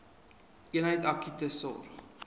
eenheid akute sorg